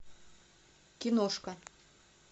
киношка